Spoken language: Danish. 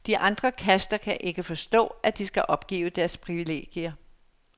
De andre kaster kan ikke forstå, at de skal opgive deres privilegier.